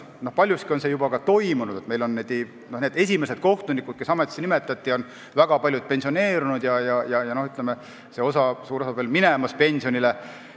Paljuski on see juba toimunud, sest esimestest kohtunikest, kes ametisse nimetati, on väga paljud juba pensioneerunud ja suur osa veel minemas pensionile.